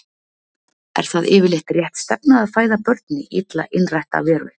Er það yfirleitt rétt stefna að fæða börn í illa innrætta veröld?